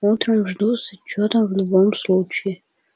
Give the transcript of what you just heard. утром жду с отчётом в любом случае